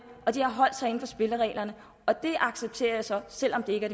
og spillereglerne og det accepterer jeg så selv om det ikke